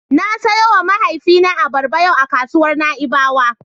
Na siyowa mahaifina abarba yau a kasuwar Na'ibawa.